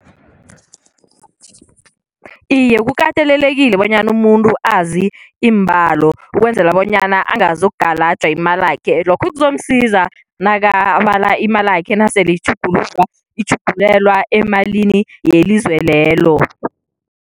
Iye, kukatelelekile bonyana umuntu azi iimbalo, ukwenzela bonyana angazokugalaja imalakhe, lokho kuzomsiza nakabala imalakhe nasele itjhuguluka itjhugulelwa emalini yelizwe lelo.